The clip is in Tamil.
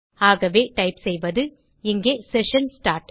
ஆகவே டைப் செய்வது இங்கே செஷன் ஸ்டார்ட்